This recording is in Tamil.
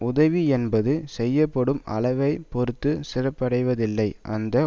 உதவி என்பது செய்யப்படும் அளவை பொருத்துச் சிறப்படைவதில்லை அந்த